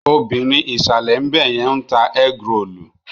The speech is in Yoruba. Obìrin ìsàlè ńbẹ̀yẹn ń ta ẹ́grolù.